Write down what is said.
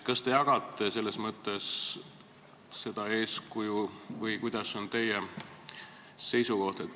Kas te jagate selles mõttes seda eeskuju või milline on teie seisukoht?